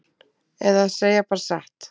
Eða segja bara satt?